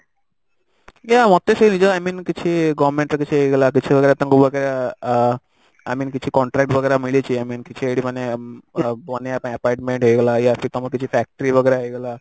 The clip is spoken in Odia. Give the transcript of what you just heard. ୟା ମୋତେ ସେ ନିଜେ i mean କିଛି government ର କ୍ଜିଛି ହେଇଗଲା କିଛି ତାଙ୍କୁ ଆ i mean କିଛି contract वगेरा ମିଳିଛି i mean କିଛି ଏଇଠି ମାନେ ଅ ବନେଇବା ପାଇଁ apartment ହେଇଗଲା या फिर ତମର କିଛି factory वगेरा ହେଇଗଲା